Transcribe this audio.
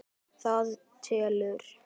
Það telur.